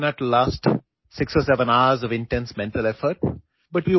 6 അല്ലെങ്കിൽ 7 മണിക്കൂർ നീണ്ടുനിൽക്കുന്ന തീവ്രമായ മാനസിക പ്രയത്നത്തിന് നിങ്ങൾക്ക് കരുത്ത് ആവശ്യമാണ്